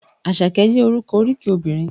Àṣàkẹ́ jẹ́ orúkọ oríkì obìnrin.